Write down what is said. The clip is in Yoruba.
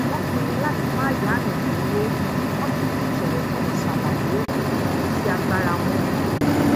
wón pinnu lati ma yayan lowo wón sì fi tòwòtòwò ṣàlàyé ibi tí agbára wọn mọ